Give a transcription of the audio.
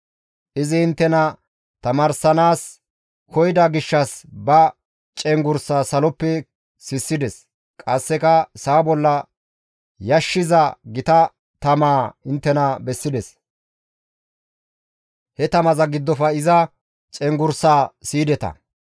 Izi inttena tamaarsanaas koyida gishshas ba cenggurssaa saloppe sissides; qasseka sa7a bolla yashshiza gita tamaa inttena bessides; he tamaza giddofe iza cenggurssaa siyideta.